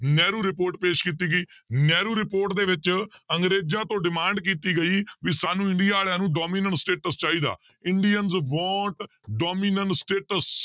Nehru report ਪੇਸ ਕੀਤੀ ਗਈ ਨਹਿਰੂ report ਦੇ ਵਿੱਚ ਅੰਗਰੇਜ਼ਾਂ ਤੋਂ demand ਕੀਤੀ ਗਈ ਵੀ ਸਾਨੂੰ ਇੰਡੀਆ ਵਾਲਿਆਂ ਨੂੰ dominance status ਚਾਹੀਦਾ ਇੰਡੀਅਨਸ want dominance status